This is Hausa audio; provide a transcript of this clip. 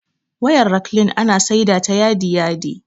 Wayar raklin ana saida ta yadi yadi